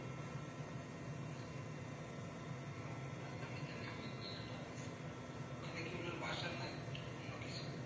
উনার নামে তাহলে ওই জায়গাটা স্থাপন করা ওখানে কি ওনার বাসা না অন্য কিছু